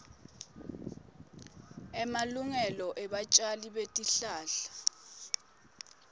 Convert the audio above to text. emalungelo ebatjali betihlahla